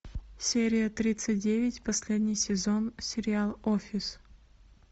серия тридцать девять последний сезон сериал офис